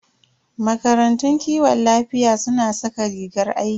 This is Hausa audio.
Makarantun kiwon lafiya suna saka rigar aiki.